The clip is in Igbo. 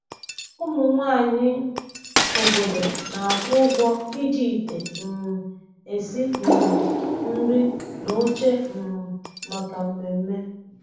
Ụmụ nwanyị obodo na-akwụ ụgwọ iji ite um esi um nri na oche um maka mmemme.